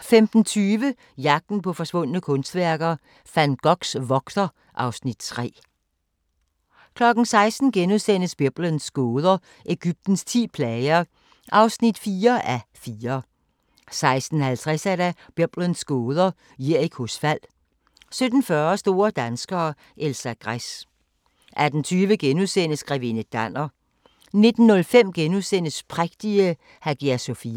15:20: Jagten på forsvundne kunstværker - Van Goghs vogter (Afs. 3) 16:00: Biblens gåder – Egyptens ti plager (4:4)* 16:50: Biblens gåder – Jerikos fald 17:40: Store danskere - Elsa Gress 18:20: Grevinde Danner * 19:05: Prægtige Hagia Sofia *